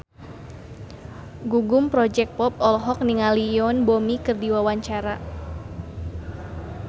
Gugum Project Pop olohok ningali Yoon Bomi keur diwawancara